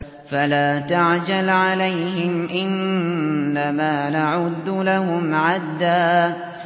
فَلَا تَعْجَلْ عَلَيْهِمْ ۖ إِنَّمَا نَعُدُّ لَهُمْ عَدًّا